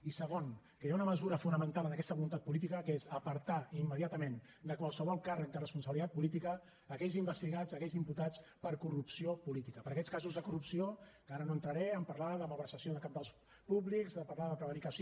i segon que hi ha una mesura fonamental en aquesta voluntat política que és apartar immediatament de qualsevol càrrec de responsabilitat política aquells investigats aquells imputats per corrupció política per a aquests casos de corrupció que ara no entraré a parlar de malversació dels cabals públics a parlar de prevaricació